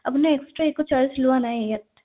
আপনাৰ extra একো charge লোৱা নাই ইয়াত